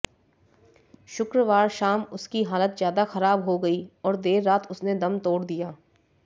शुक्रवार शाम उसकी हालत ज्यादा खराब हो गई और देर रात उसने दम तोड़ दिया